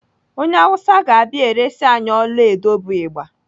Onye Awụsa ga-abịa eresi anyị ọlaedo bụ Ịgba.